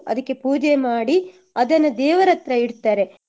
ಅದಿಕ್ಕೆ ಪೂಜೆ ಮಾಡಿ ಅದನ್ನ ದೇವರ ಹತ್ರ ಇಡ್ತಾರೆ